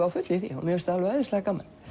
á fullu í því og finnst það æðislega gaman